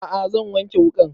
A'a zan wanke wuƙan